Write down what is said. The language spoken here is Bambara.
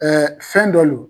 fɛn dɔ lo